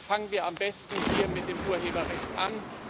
Fangen wir am besten hier mit dem Urheberrecht an!